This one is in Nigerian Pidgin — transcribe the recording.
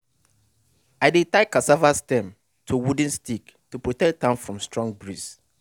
i dey tie cassava stem to wooden stick to protect am from strong breeze.